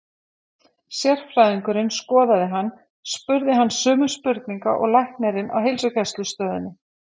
Sérfræðingurinn skoðaði hann og spurði hann sömu spurninga og læknirinn á heilsugæslustöðinni.